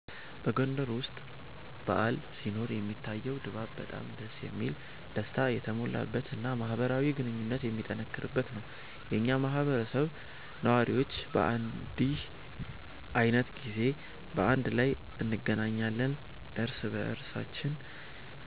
በጎንደር ውስጥ በዓል ሲኖር የሚታየው ድባብ በጣም ደስ የሚል፣ ደስታ የተሞላበት እና ማህበራዊ ግንኙነት የሚጠነክርበት ነው። የኛ ማህበረሰብ ነዋሪዎች በእንዲህ ዓይነት ጊዜ በአንድ ላይ እንገናኛለን፣ እርስ በእርሳችን